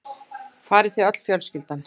Farið þið öll fjölskyldan?